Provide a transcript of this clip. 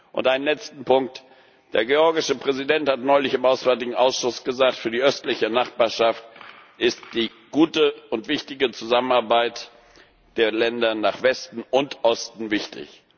Und ein letzter Punkt Der georgische Präsident hat neulich im Auswärtigen Ausschuss gesagt, für die Östliche Nachbarschaft ist die gute Zusammenarbeit der Länder nach Westen und Osten wichtig.